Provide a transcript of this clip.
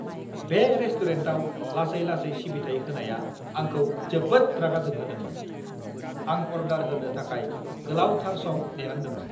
बे रेस्टुरेन्टाव लासै-लासै सिबिथाइ होनाया आंखौ जोबोद रागा जोंहोदोंमोन। आं अर्डार होनो थाखाय गोलावथार सम नेनांदोंमोन!